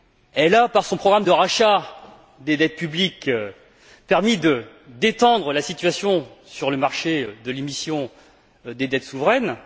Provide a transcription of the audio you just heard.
Elle a, par son programme de rachat des dettes publiques, permis de détendre la situation sur le marché de l'émission des dettes souveraines.